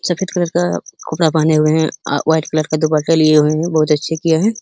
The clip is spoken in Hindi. सफेद कलर का कपड़ा पहने हुए है आ व्हाइट कलर का दुपट्टा लिए हुए है। बहोत अच्छे किये है।